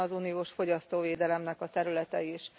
Ilyen az uniós fogyasztóvédelemnek a területe is.